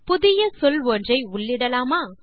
புதிய சொல் ஒன்றை உள்ளிடலாமா